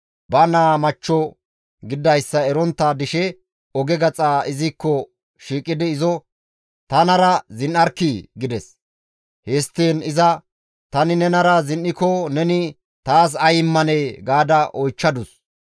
Ba naa machcho gididayssa erontta dishe oge gaxa izikko shiiqidi izo, «Tanara zin7arkkii!» gides. Histtiin iza, «Tani nenara zin7iko neni taas ay immanee?» ga oychchadus.